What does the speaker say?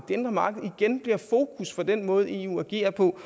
indre marked igen bliver fokus for den måde eu agerer på